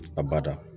A bada